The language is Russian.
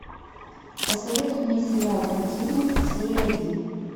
посоветуй мне сериал континуум серия один